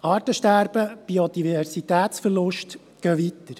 » Artensterben und Biodiversitätsverlust gehen weiter.